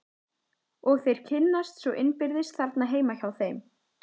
Og þeir kynnast svo innbyrðis þarna heima hjá þeim.